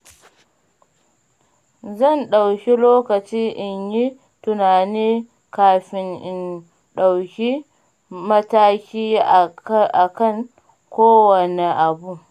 Zan ɗauki lokaci in yi tunani kafin in ɗauki mataki akan kowanne abu.